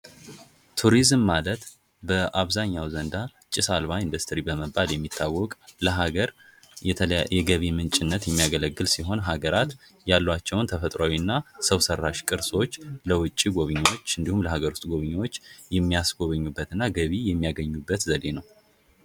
ቱሪዝም ማለት በአብዛኛው ዘንዳ ጭስ አልባ ኢንዱስትሪ በመባል የሚታወቅ ለሀገር የገቢ ምንጭነት የሚያገለግል ሲሆን፤ ሀገራት ያሏቸውን ተፈጥሯዊና ሰው ሠራሽ ቅርሶች ለውጭ ጎብኚዎች እንዲሁም ለሃገር ውስጥ ጎብኚዎች የሚያስጎበኙበት እና ገቢ የሚያገኙበት ዘዴ ነው።